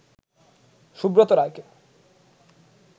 সুব্রত রায়কে